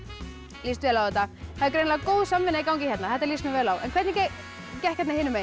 líst vel á þetta það er greinilega góð samvinna í gangi hérna þetta líst mér vel á en hvernig gekk hérna hinum megin